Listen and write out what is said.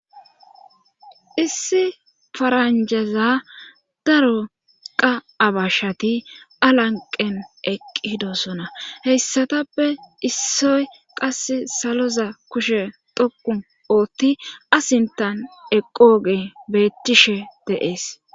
issi faranjaza daro qa abashshati alanqen eqqidosona heyssatappe issoy qas saloza kushe toku ootti asintan eqooge beettishe deees